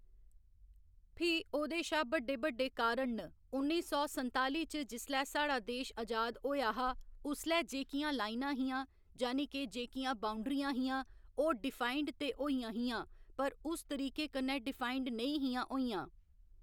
फ्ही ओह्दे शा बड्डे बड्डे कारण न उन्नी सौ संताली च जिसलै साढ़ा देश अजाद होएआ हा उसलै जेह्‌कियां लाइनां हियां जानी के जेह्‌कियां बाउंडरियां हियां ओह् डिफाइंड ते होइयां हियां पर उस तरीके कन्नै डिफाइंड नेईं हियां होइयां